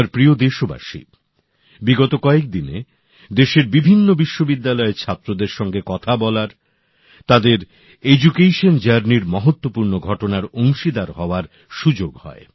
আমার প্রিয় দেশবাসী বিগত কয়েকদিনে দেশের বিভিন্ন বিশ্ববিদ্যালয়ের ছাত্রদের সঙ্গে কথা বলার তাদের শিক্ষালাভের মহত্ত্বপূর্ণ ঘটনার অংশীদার হওয়ার সুযোগ হয়